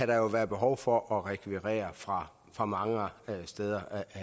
der jo være behov for at rekvirere fra fra mange steder